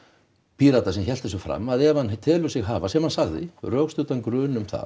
Pírata sem hélt þessu fram að ef hann telur sig hafa sem hann sagði rökstuddan grun um það